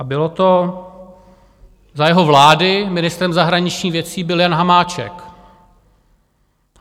A bylo to za jeho vlády, ministrem zahraničních věcí byl Jan Hamáček.